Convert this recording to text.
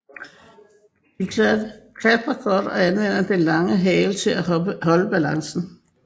De klatrer godt og anvender den lange hale til at holde balancen